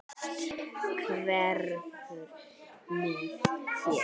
Allt hverfur með þér.